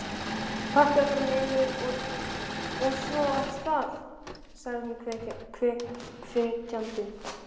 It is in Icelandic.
Pakkaðu bara niður, og svo af stað! sagði hún hvetjandi.